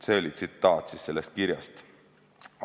" See oli tsitaat sellest kirjast.